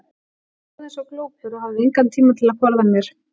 Ég stóð eins og glópur og hafði engan tíma til að forða mér.